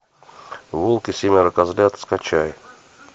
волк и семеро козлят скачай